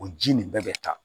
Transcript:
O ji nin bɛɛ bɛ taa